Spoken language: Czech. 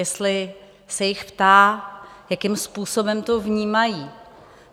Jestli se jich ptá, jakým způsobem to vnímají.